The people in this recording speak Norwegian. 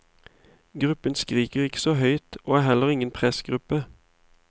Gruppen skriker ikke så høyt, og er heller ingen pressgruppe.